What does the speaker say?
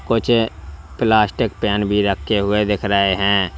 कुछ plastic pen भी रखे हुए दिख रहे हैं।